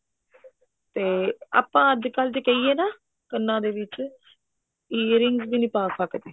ਤੇ ਆਪਾਂ ਅੱਜਕਲ ਜੇ ਕਹਿਏ ਨਾ ਕੰਨਾ ਦੇ ਵਿੱਚ earing ਵੀ ਨੀ ਪਾ ਸਕਦੇ